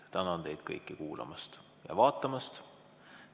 Tänan teid kõiki kuulamast ja vaatamast.